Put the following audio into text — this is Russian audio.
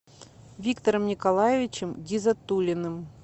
виктором николаевичем гизатуллиным